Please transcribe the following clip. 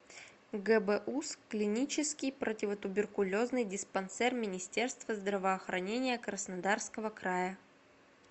гбуз клинический противотуберкулезный диспансер министерства здравоохранения краснодарского края